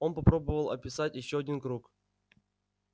он попробовал описать ещё один круг